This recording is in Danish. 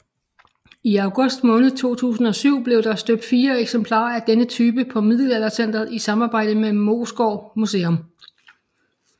I august måned 2007 blev der støbt fire eksemplarer af denne type på Middelaldercentret i samarbejde med Moesgaard Museum